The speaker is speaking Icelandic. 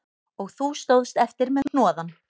Og þú stóðst eftir með hnoðann